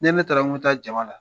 Ni ne taara ko n me taa jama la.